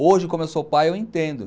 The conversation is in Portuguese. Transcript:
Hoje, como eu sou pai, eu entendo.